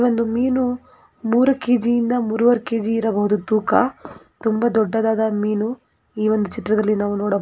ಒಂದು ಮೀನು ಮೂರೂ ಕೆಜಿ ಇಂದ ಮೂರುವರೆ ಕೆಜಿ ಇರಬಹುದು ತೂಕ ತುಂಬಾ ದೊಡ್ಡದಾದ ಮೀನು ಈ ಒಂದು ಚಿತ್ರದಲ್ಲಿ ನಾವ ನೊಡಬಹುದು.